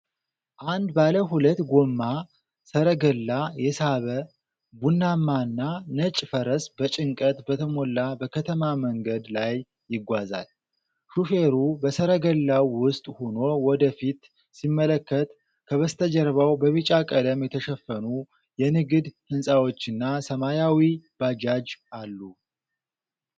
አንድ ባለ ሁለት ጎማ ሠረገላ የሳበ ቡናማና ነጭ ፈረስ በጭንቀት በተሞላ በከተማ መንገድ ላይ ይጓዛል። ሾፌሩ በሠረገላው ውስጥ ሆኖ ወደ ፊት ሲመለከት፣ ከበስተጀርባ በቢጫ ቀለም የተሸፈኑ የንግድ ሕንፃዎችና ሰማያዊ ባጃጅ አሉ።